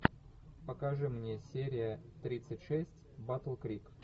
покажи мне серия тридцать шесть батл крик